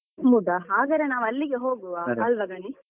ಹೌದಾ ಹಾಗದ್ರೆ ನಾವು ಅಲ್ಲಿಗೆ ಹೋಗುವ ಅಲ್ವ ಗಣೇಶ್.